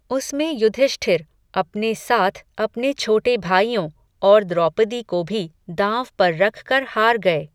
उसमें युधिष्ठिर, अपने साथ अपने छोटे भाइयों, और द्रौपदी को भी, दाँव पर रखकर, हार गए